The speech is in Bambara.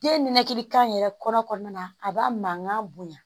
Den ninakili kan yɛrɛ kɔrɔ kɔnɔna na a b'a mankan bonya